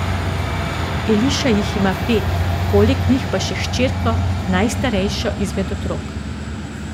Eliša jih ima pet, poleg njih pa še hčerko, najstarejšo izmed otrok.